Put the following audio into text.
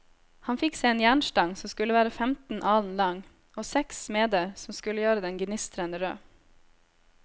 Han fikk seg en jernstang som skulle være femten alen lang, og seks smeder som skulle gjøre den gnistrende rød.